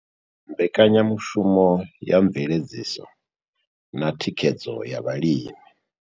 Mbekanya mushumo ya Mveledziso na Thikhedzo ya Vhalimi.